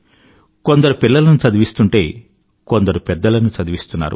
కొందరు పిల్లలను చదివిస్తుంటే కొందరు పెద్దలను చదివిస్తున్నారు